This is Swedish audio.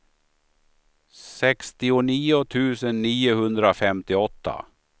sextionio tusen niohundrafemtioåtta